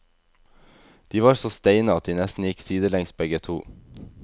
De var så steine at de nesten gikk sidelengs begge to.